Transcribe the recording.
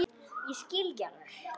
Ég skil ekki alveg